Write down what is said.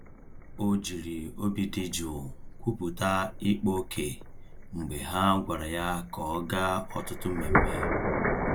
O jiri obi dị jụụ kwupụta ịkpa ókè mgbe ha gwara ya ka ọ gaa ọtụtụ mmemme.